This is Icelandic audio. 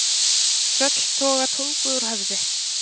Tröll toga tungu úr höfði.